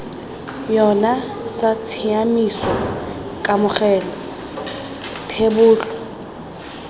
yona sa tshiaimiso kamogelo thebolo